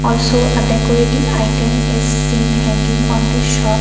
so a decorating item is seen hanging on the shop.